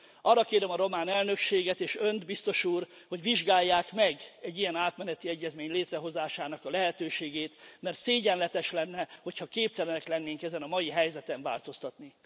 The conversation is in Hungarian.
Arra kérem a román elnökséget és Önt, biztos úr, hogy vizsgálják meg egy ilyen átmeneti egyezmény létrehozásának a lehetőségét, mert szégyenletes lenne, hogyha képtelenek lennénk ezen a mai helyzeten változtatni.